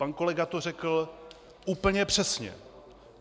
Pan kolega to řekl úplně přesně.